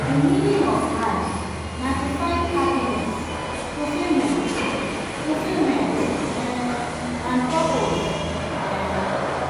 di meaning of life na to find happiness fulfillment fulfillment um and purpose. um